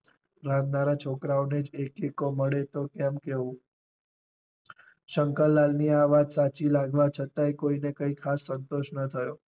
રાંધનારા છોકરાઓ ને જ એક એક્કો મળે તો કેમ કેવું શંકરલાલ ની આ વાત સાચી લાગવા છતાંય કોઈ ને કઈ ખાસ સંતોષ ના થયો.